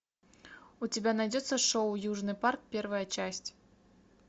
у тебя найдется шоу южный парк первая часть